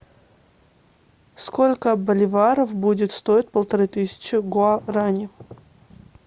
сколько боливаров будет стоить полторы тысячи гуарани